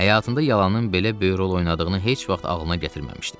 Həyatında yalanın belə böyük rol oynadığını heç vaxt ağlına gətirməmişdi.